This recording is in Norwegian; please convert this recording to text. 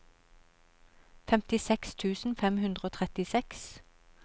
femtiseks tusen fem hundre og trettiseks